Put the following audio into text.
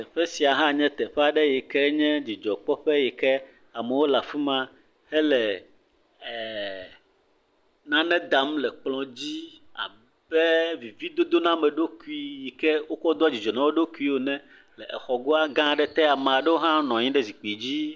Teƒe sia nye teƒe aɖe si nye dzidzɔ kpɔ ƒe aɖe yike amewo le afima hele nane dam le kplɔ dzi abe e vevie dodo na ame ɖokui yike wokɔ doa dzidzɔ na woɖokui ene. Exɔgoa gã ɖe te. Ame ɖewo hã nɔ anyi ɖe zikpui dzi.